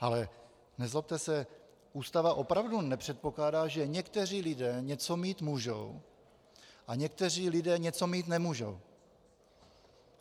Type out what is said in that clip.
Ale nezlobte se, Ústava opravdu nepředpokládá, že někteří lidé něco mít můžou a někteří lidé něco mít nemůžou.